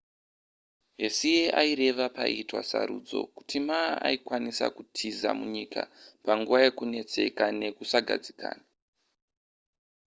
hsieh aireva paiitwa sarudzo kuti ma aikwanisa kutiza munyika panguva yekunetseka nekusagadzikana